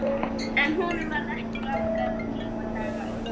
En honum varð ekki langra lífdaga auðið.